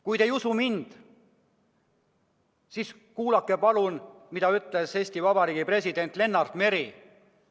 Kui te ei usu mind, siis kuulake palun, mida ütles Eesti Vabariigi president Lennart Meri!